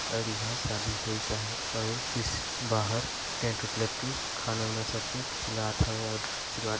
और ईंहा शादी हुए सा हे और इस बाहर टेंट उट लगके खाना वाना सबके खेलात हवे और आशीर्वाद --